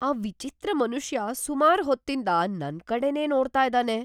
ಆ ವಿಚಿತ್ರ ಮನುಷ್ಯ ಸುಮಾರ್ ಹೊತ್ತಿಂದ ನನ್ಕಡೆನೇ ನೋಡ್ತಾ ಇದಾನೆ.